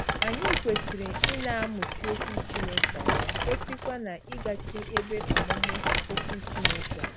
Anyị kwesịrị ịna - amụchi Okwu Chineke anya, kwesịkwa na-ịgachi ebe ọmụmụ okwu Chineke anya.